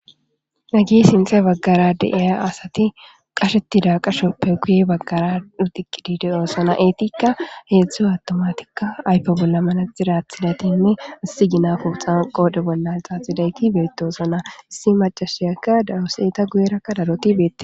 Hage sintha bagara de'iza asati qashetida qashoppe guye bagara aduqidi de'osona etikka hezhzhu attumatika ayfe bolla manaxire athidaytinne issihina poxa qodhe bolla xaxidati betosona issi maciashayaka dawusi enta guye raka darotti bettetes.